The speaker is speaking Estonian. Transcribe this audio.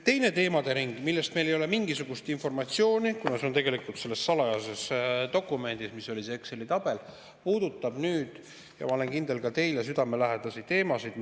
Teine teemadering – mille kohta ei ole meil mingisugust informatsiooni, kuna see on tegelikult selles salajases dokumendis, mis oli see Exceli tabel – puudutab nüüd, ma olen kindel, ka teile südamelähedasi teemasid.